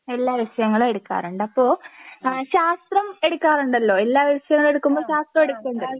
എല്ലാ വിഷയങ്ങളും എടുക്കാറുണ്ട് അപ്പോ ആ ശാസ്ത്രം എടുക്കാറുണ്ടല്ലോ എല്ലാ വിഷയവും എടുക്കുമ്പോൾ ശാസ്ത്രവും എടുക്കുമല്ലോ?